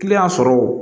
sɔrɔ